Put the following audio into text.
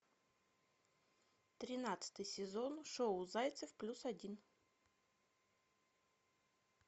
тринадцатый сезон шоу зайцев плюс один